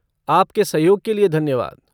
आपके सहयोग के लिए धन्यवाद।